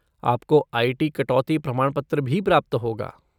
आपको आई.टी. कटौती प्रमाणपत्र भी प्राप्त होगा।